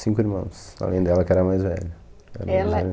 cinco irmãos, além dela que era a mais velha. Ela